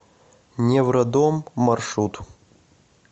невродом маршрут